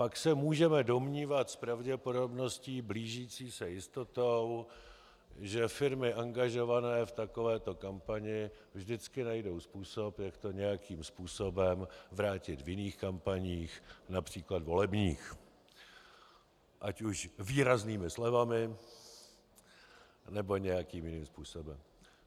Pak se můžeme domnívat s pravděpodobností blížící se jistotě, že firmy angažované v takovéto kampani vždycky najdou způsob, jak to nějakým způsobem vrátit v jiných kampaních, například volebních, ať už výraznými slevami, nebo nějakým jiným způsobem.